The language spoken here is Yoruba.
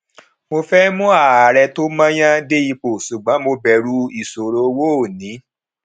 mo fẹ mú ààrẹ tí mo yàn dé ipò ṣùgbọn mo bẹrù ìṣòro owó ó ní